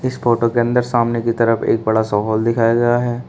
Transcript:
इस फोटो के अंदर सामने की तरफ एक बड़ा सा हॉल दिखाया गया है।